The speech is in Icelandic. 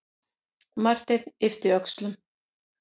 Marteinn yppti öxlum.